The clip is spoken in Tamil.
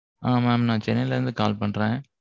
ஆ mam, நான் சென்னையில இருந்து call பண்றேன்